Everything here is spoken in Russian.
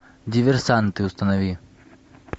диверсанты установи